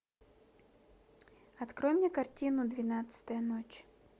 открой мне картину двенадцатая ночь